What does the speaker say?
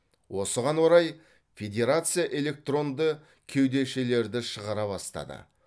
осыған орай федерация электронды кеудешелерді шығара бастады